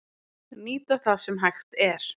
Nýta það sem hægt er